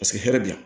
Paseke hɛrɛ bi yan